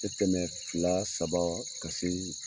A tɛmɛ fila saba ka se